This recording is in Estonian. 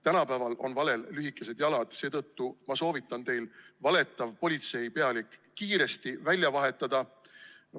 Tänapäeval on valel lühikesed jalad ja seetõttu ma soovitan teil valetav politseipealik kiiresti välja vahetada.